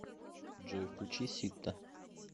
джой включи ситта